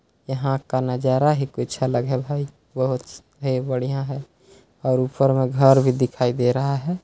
यहाँ का नजारा ही कुछ अलग है भाई! बहुत ही बढ़िया है और ऊपर में घर भी दिखाई दे रहा है।